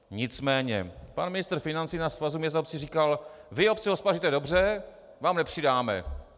Nicméně pan ministr financí na Svazu měst a obcí říkal: Vy, obce, hospodaříte dobře, vám nepřidáme.